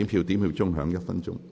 表決鐘會響1分鐘。